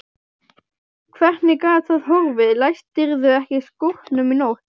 Hvernig gat það horfið, læstirðu ekki skúrnum í nótt?